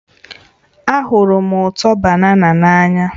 Ahụrụ m ụtọ banana n'anya